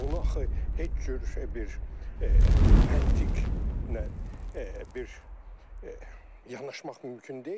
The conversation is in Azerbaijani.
Bunu axı heç cür bir məntiq bir yanaşmaq mümkün deyil.